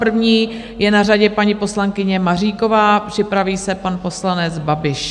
První je na řadě paní poslankyně Maříková, připraví se pan poslanec Babiš.